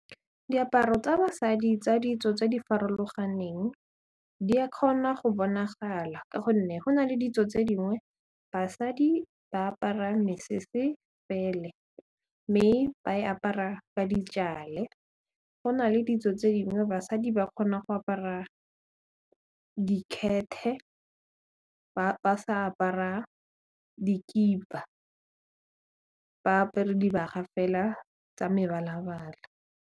Diaparo tsa basadi tsa ditso tse di farologaneng di a kgona go bonagala ka gonne go na le ditso tse dingwe basadi ba apara mesese pele mme ba e apara ka ditšale go na le ditso tse dingwe basadi ba kgona go apara ba sa apara dikipa ba apere dibaga fela tsa mebalabala.